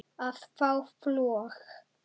að fá flog